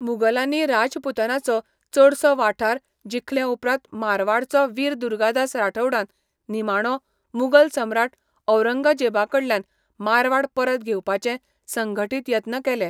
मुगलांनी राजपूतानाचो चडसो वाठार जिखलेउपरांत मारवाडचो वीर दुर्गादास राठौडान निमाणो मुगल सम्राट औरंगजेबाकडल्यान मारवाड परत घेवपाचे संघटीत यत्न केले.